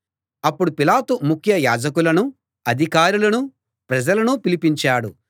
అప్పుడు పిలాతు ముఖ్య యాజకులనూ అధికారులనూ ప్రజలనూ పిలిపించాడు